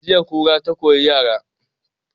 Jiya kura ta kori yara